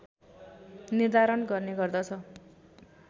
निर्धारण गर्ने गर्दछ